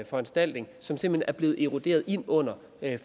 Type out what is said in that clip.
foranstaltning som simpelt hen er blevet eroderet ind under